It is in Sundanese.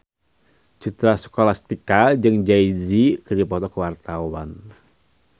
Citra Scholastika jeung Jay Z keur dipoto ku wartawan